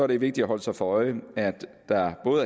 det vigtigt at holde sig for øje at der